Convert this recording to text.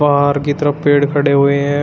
बाहर की तरफ पेड़ खड़े हुए हैं।